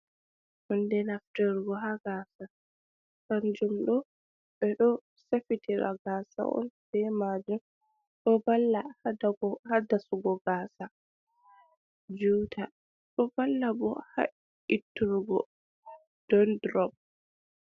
Hunde naftirgo ha gasa, kanjum ɗo ɓe ɗo safitira gasa on be majum, do valla ha dasugo gasa juta ɗo valla bo ha itturgo Dan drob.